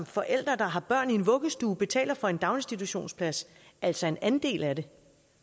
forældre der har børn i vuggestue betaler for en daginstitutionsplads altså en andel af det